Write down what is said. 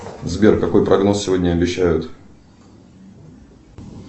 сбер какой прогноз сегодня обещают